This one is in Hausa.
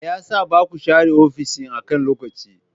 Me yasa baku share ofis akan lokaci?